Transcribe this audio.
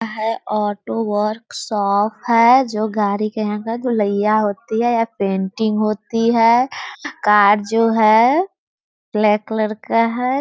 Auto workshop है जो गाड़ी कि यहाँ पर धुलईया होती है या पेंटिंग होती है कार जो है ब्लैक कलर का है ।